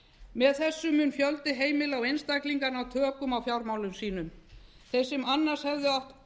með þessu mun fjöldi heimila og einstaklinga ná tökum á fjármálum sínum þeir sem annars hefðu átt